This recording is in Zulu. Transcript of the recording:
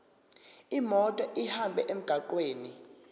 imoto ihambe emgwaqweni